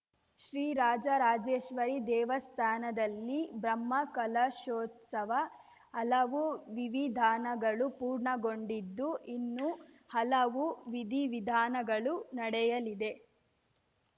ಶ್ರೀ ರಾಜರಾಜೇಶ್ವರಿ ದೇವಸ್ಥಾನದಲ್ಲಿ ಬ್ರಹ್ಮಕಲಶೋತ್ಸವ ಹಲವು ವಿವಿಧಾನಗಳು ಪೂರ್ಣಗೊಂಡಿದ್ದು ಇನ್ನೂ ಹಲವು ವಿದಿವಿಧಾನಗಳು ನಡೆಯಲಿದೆ